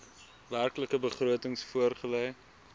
werklike begrotings voorgelê